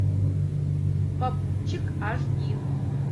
попутчик аш ди